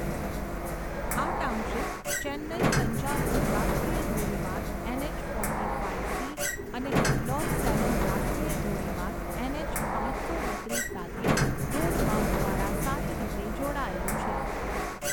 આ ટાઉનશીપ ચેન્નઈ તંજાવુર રાષ્ટ્રીય ધોરીમાર્ગ ઍનઍચ ફોર્ટી ફાઈવ સી અને કડ્ડલોર સેલમ રાષ્ટ્રીય ધોરીમાર્ગ ઍનઍચ પાંચસો બત્રીસ સાથે રોડ માર્ગ દ્વારા સારી રીતે જોડાયેલું છે.